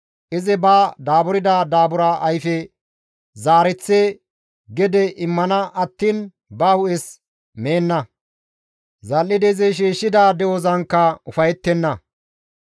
Izi ba daaburda daabura ayfe zaareththi gede immana attiin ba hu7es meenna. Zal7idi izi shiishshida de7ozankka ufayettenna.